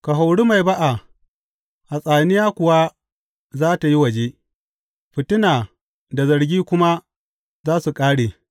Ka hori mai ba’a, hatsaniya kuwa za tă yi waje; fitina da zargi kuma za su ƙare.